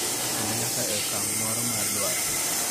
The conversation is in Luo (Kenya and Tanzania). Kendo nyaka e okang� moro mar dwaro.